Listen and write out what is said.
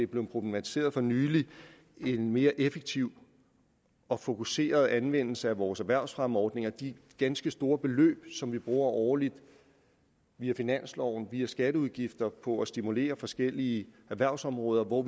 blevet problematiseret for nylig en mere effektiv og fokuseret anvendelse af vores erhvervsfremmeordninger de ganske store beløb som vi bruger årligt via finansloven via skatteudgifter på at stimulere forskellige erhvervsområder og hvor